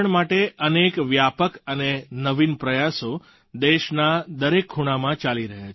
જળ સંરક્ષણ માટે અનેક વ્યાપક અને નવીન પ્રયાસો દેશના દરેક ખૂણામાં ચાલી રહ્યા છે